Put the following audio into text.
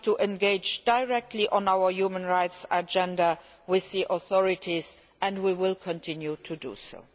We have to engage directly on our human rights agenda with the authorities, and we will continue to do so.